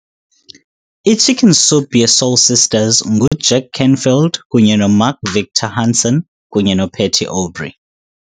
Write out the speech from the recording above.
I-Chicken Soup ye-Soul Sisters nguJack Canfield kunye noMark Victor Hansen kunye noPatty Aubery